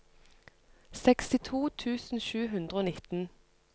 sekstito tusen sju hundre og nitten